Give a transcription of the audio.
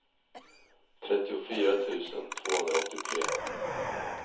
trettiofyra tusen tvåhundraåttiotre